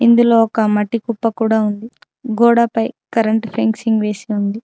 ఇందులో ఒక మట్టి కుప్ప కూడా ఉంది. గోడ పై కరెంటు ఫెన్సింగ్ వేసి ఉంది.